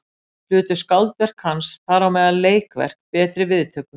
Hlutu skáldverk hans, þar á meðal leikverk, betri viðtökur.